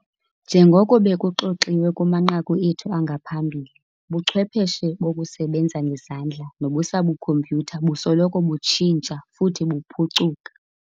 Njengoko bekuxoxiwe kumanqaku ethu angaphambili, ubuchwepheshe bokusebenza ngezandla nobusabukhompyutha busoloko butshintsha futhi buchuphuka.